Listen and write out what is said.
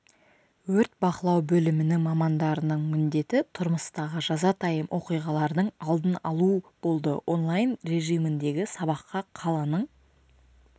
өрт бақылау бөлімінің мамандарының міндеті тұрмыстағы жазатайым оқиғалардың алдын алу болды онлайн режиміндегі сабаққа қаланың